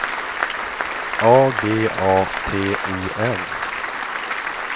A G A T O N